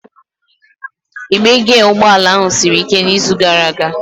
Igbe giya ụgbọ ala ahụ siri ike n'izu gara aga.